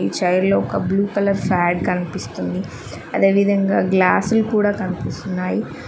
Chair లో ఒక blue colour pad కన్పిస్తుంది అదే విధంగా గ్లాసుల్ కూడా కనిపిస్తున్నాయి.